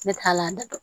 Ne t'a la